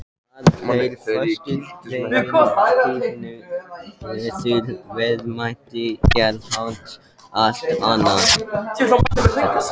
Að þeirri forsendu gefinni verður verðmæti jarðhitans allt annað.